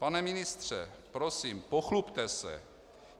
Pane ministře, prosím, pochlubte se.